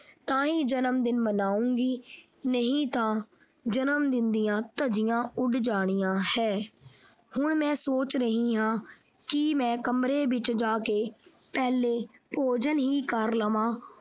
ਤਾਂ ਹੀ ਜਨਮਦਿਨ ਮਨਾਉਂਗੀ ਨਹੀਂ ਤਾਂ ਜਨਮਦਿਨ ਦੀਆਂ ਧੱਜੀਆਂ ਉੱਡ ਜਾਣੀਆਂ ਹੈ ਹੁਣ ਮੈਂ ਸੋਚ ਰਹਿਣ ਹਾਂ ਕਿ ਮੈਂ ਕਮਰੇ ਵਿੱਚ ਜਾ ਕੇ ਪਹਿਲੇ ਭੋਜਨ ਹੀ ਕਰ ਲਵਾਂ।